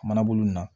Manabolo min na